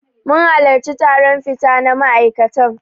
Mun halarci taron fita na ma'aikatan.